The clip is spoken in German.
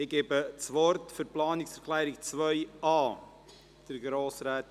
Ich gebe das Wort für die Planungserklärung 2a Grossrätin Geissbühler, SVP.